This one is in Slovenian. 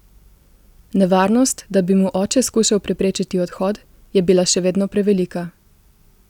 Nevarnost, da bi mu oče skušal preprečiti odhod, je bila še vedno prevelika.